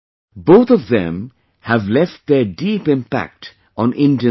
Both of them have left their deep impact on Indian society